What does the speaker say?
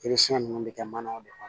ninnu bɛ kɛ manaw de kɔnɔ